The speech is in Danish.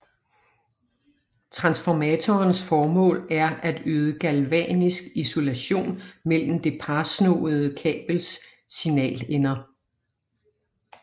Transformatorens formål er at yde Galvanisk isolation mellem det parsnoede kabels to signalender